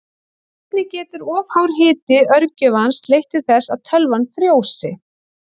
Einnig getur of hár hiti örgjörvans leitt til þess að tölvan frjósi.